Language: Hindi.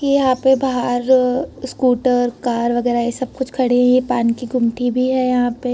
के यहाँ पे बाहर स्कूटर कार वगैरा ये सब कुछ खड़ीं है। ये पान की गुमटी भी है यहाँ पे।